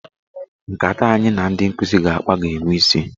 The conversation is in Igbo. Nkata anyị na ndị nkụzi ga-akpa ga-enwe isi.